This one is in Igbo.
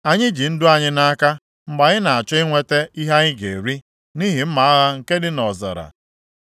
Anyị ji ndụ anyị nʼaka mgbe anyị na-achọ inweta ihe anyị ga-eri, nʼihi mma agha nke dị nʼọzara.